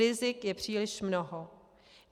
Rizik je příliš mnoho.